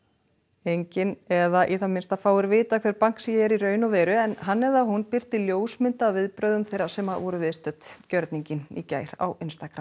enginn eða í það minnsta fáir vita hver Bansky er í raun og veru en hann eða hún birti ljósmynd af viðbrögðum þeirra sem voru viðstödd gjörninginn í gær á